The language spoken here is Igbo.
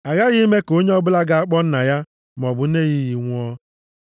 “Aghaghị ime ka onye ọbụla ga-akpọ nna ya maọbụ nne ya iyi nwụọ.